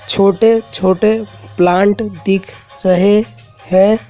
छोटे छोटे प्लांट दिख रहे हैं।